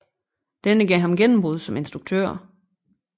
Denne gav ham gennembrud som instruktør